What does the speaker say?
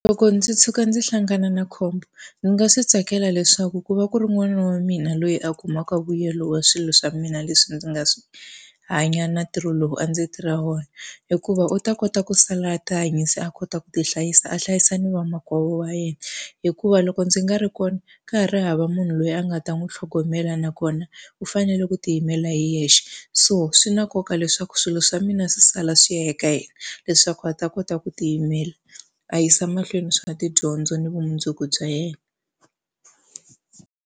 Loko ndzi tshuka ndzi hlangana na khombo, ndzi nga swi tsakela leswaku ku va ku ri n'wana wa mina loyi a kumaka vuyelo wa swilo swa mina leswi ndzi nga swi hanya na ntirho lowu a ndzi tirha wona. Hikuva u ta kota ku sala a tihanyisa a kota ku ti hlayisa, a hlayisa ni vamakwavo wa yena. Hikuva loko ndzi nga ri kona, ka ha ri hava munhu loyi a nga ta n'wi tlhogomela nakona u fanele ku tiyimela hi yexe. So swi na nkoka leswaku swilo swa mina swi sala swi ya eka yena leswaku a ta kota ku tiyimela, a yisa mahlweni swa tidyondzo ni vumundzuku bya yena.